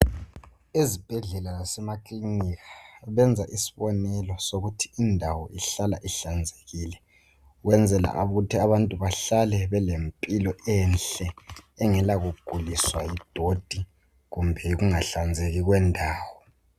Ezibhedlela lasema kiliniki benza isibonelo sokuthi indawo ihlala ihlanzekile. Kwenzela ukuthi abantu bahlale bele mpilo enhle engela kuguliswa yidoti kumbe yikungahlanzeki kwendawo.